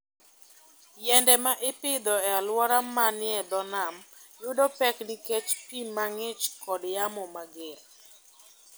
Yiende ma ipidho e alwora manie dho nam yudo pek nikech pi mang'ich kod yamo mager.